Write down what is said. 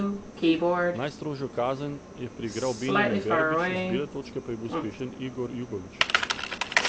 Najstrožjo kazen je priigral Benjamin Verbič, z bele točke pa je bil uspešen Igor Jugović.